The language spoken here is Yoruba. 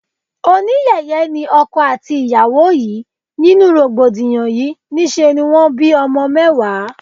Oníyẹ̀yẹ́ ni ọkọ àti ìyàwó yìí, nínú rògbòdìyàn yí, ní ṣe ni wón bí ọmọ mẹ́wàá.